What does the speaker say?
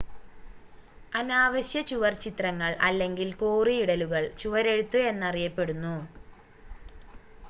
അനാവശ്യ ചുവർച്ചിത്രങ്ങൾ അല്ലെങ്കിൽ കോറിയിടലുകൾ ചുവരെഴുത്ത് എന്നറിയപ്പെടുന്നു